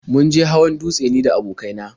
Mun je hawan dutse ni da abokai na.